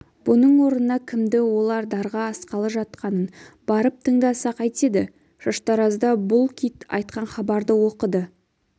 бұның орнына кімді олар дарға асқалы жатқанын барып тыңдаса қайтеді шаштаразда бұл кит айтқан хабарды оқыды